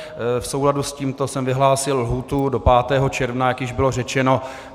V souladu s tímto jsem vyhlásil lhůtu do 5. června, jak již bylo řečeno.